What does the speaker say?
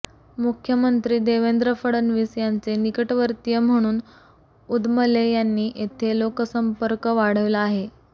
मुख्यमंत्री देवेंद्र फडणवीस यांचे निकटवर्तीय म्हणून उदमले यांनी येथे लोकसंपर्क वाढविला आहे